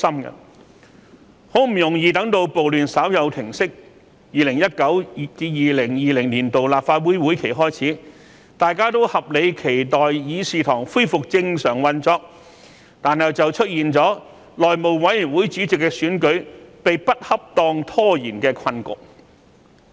很不容易待至暴亂稍有平息 ，2019-2020 年度立法會會議開始，大家都合理期待議事堂恢復正常運作，但卻出現了內會主席選舉被不恰當拖延的困局。